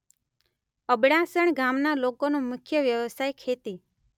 અબડાસણ ગામના લોકોનો મુખ્ય વ્યવસાય ખેતી